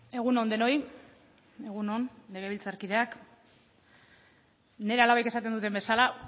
egun on denoi egun on legebiltzarkideak nire alabek esaten duten bezala